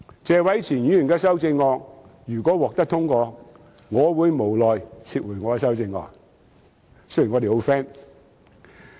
謝偉銓議員的修正案如果獲得通過，我會無奈撤回我的修正案——雖然我們十分 friend。